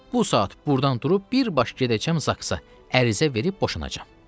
Bu saat burdan durub birbaş gedəcəm Zaka, ərizə verib boşanacam.